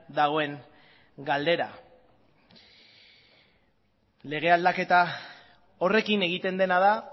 dagoen galdera lege aldaketa horrekin egiten dena da